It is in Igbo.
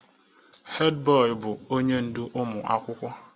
Head boy bụ onye ndu ụmụ akwụkwọ.